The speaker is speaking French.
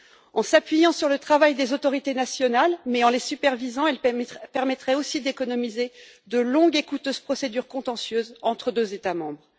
En s'appuyant sur le travail des autorités nationales mais en les supervisant, une telle agence permettrait aussi d'économiser de longues et coûteuses procédures contentieuses entre deux États membres.